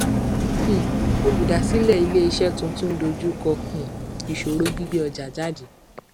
um olùdásílẹ ilé iṣẹ tuntun ń dojú kọ um ìṣòro gbígbé ọjà jáde